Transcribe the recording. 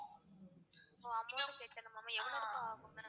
ஒ amount கட்டனுமா ma'am எவ்ளோ ரூபா ஆகும் ma'am?